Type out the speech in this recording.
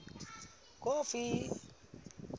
kofi